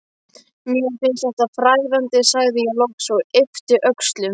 Mér finnst þetta fræðandi, sagði ég loks og yppti öxlum.